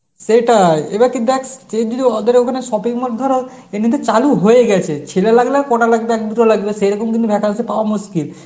সেটাই, এবার তুই দেখ তুই যদি ওদের ওখানে shopping mall ধর এ কিন্তু চালু হয়ে গেছে ছেলে লাগবে না কটা লাগবে দুটো লাগবে সেরকম কিন্তু vacancy পাওয়া মুশকিল